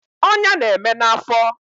Ọnya na-eme na afọ